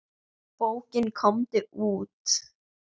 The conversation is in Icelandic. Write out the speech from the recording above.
Bókin Komdu út!